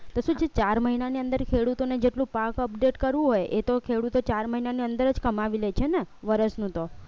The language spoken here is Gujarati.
તો જે ચાર મહિનાની અંદર ખેડૂતોને જેટલું પાક update કરવું હોય એ તો ખેડૂતો ચાર મહિનાની અંદર જ કમાવી લે છે ને વરસનું તો